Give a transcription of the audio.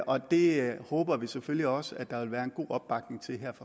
og det håber vi selvfølgelig også der vil være god opbakning til her